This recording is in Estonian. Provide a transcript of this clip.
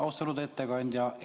Austatud ettekandja!